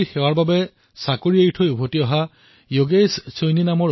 যোগেশ সৈনী এজন অভিযন্তা আৰু আমেৰিকাত তেওঁ নিজৰ চাকৰি এৰি আহি মা ভাৰতীৰ সেৱাৰ বাবে ঘূৰি আহিছে